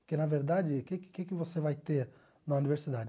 Porque, na verdade, o que que o que que você vai ter na universidade?